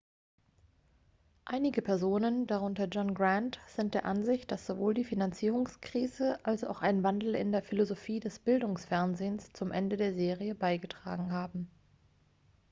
einige personen darunter john grant sind der ansicht dass sowohl die finanzierungskrise als auch ein wandel in der philosophie des bildungsfernsehens zum ende der serie beigetragen haben